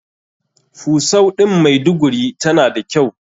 Fusau ɗin maiduguri tana da kyau.